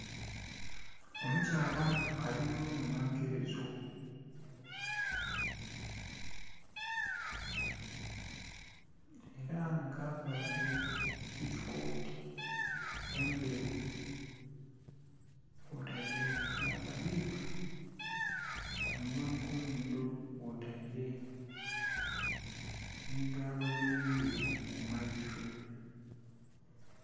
Omukyala ali mu inhonhenkerezo era nga aveire gilikooti endhelu kwotaire nh'akabiika ku munhwa nhi ku nhindho, kwotaile nhi galubindi ku maiso.